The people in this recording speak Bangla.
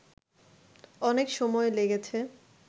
অনেক সময় লেগেছে